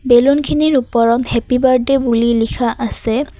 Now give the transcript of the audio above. বেলুনখিনিৰ ওপৰত happy birthday বুলি লিখা আছে।